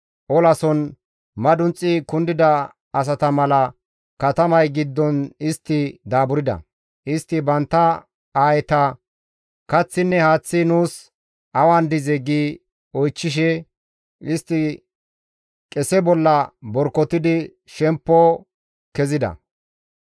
Olason madunxi kundida asata mala katamay giddon istti daaburda; istti bantta aayeta, «Kaththinne haaththi nuus awan dizee?» gi oychchishe istti qese bolla borkotidi shemppo kezida.